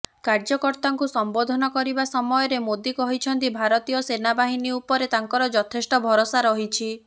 କାର୍ଯ୍ୟକର୍ତ୍ତାଙ୍କୁ ସମ୍ବୋଧନ କରିବା ସମୟରେ ମୋଦି କହିଛନ୍ତି ଭାରତୀୟ ସେନାବାହିନୀ ଉପରେ ତାଙ୍କର ଯଥେଷ୍ଟ ଭରସା ରହିଛି